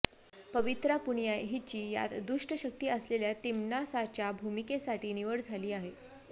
पवित्रा पुनिया हिची यात दुष्ट शक्ती असलेल्या तिम्नासाच्या भूमिकेसाठी निवड झाली आहे